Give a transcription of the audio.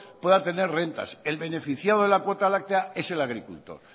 pueda tener rentas el beneficiado de la cuota láctea es el agricultor